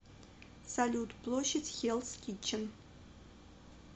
салют площадь хеллс китчен